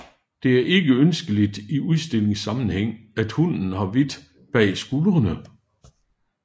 Det er ikke ønskeligt i udstillingssammenhæng at hunden har hvidt bag skuldrene